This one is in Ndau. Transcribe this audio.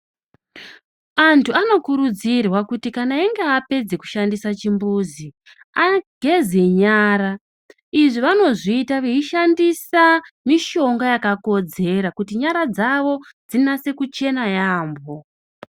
Antu anokurudzirwa kuti kana einge apedze kushandisa chimbuzi ageze nyara. Izvi vanozviita veishandisa mishonga yakakodzera kuti nyara dzavo dzinyase kuchena yaambo.